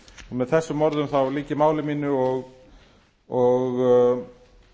með þessum orðum þá lýk ég máli mínu og